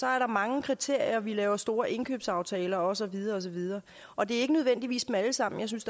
er der mange kriterier vi laver store indkøbsaftaler og så videre og så videre og det er ikke nødvendigvis dem alle sammen jeg synes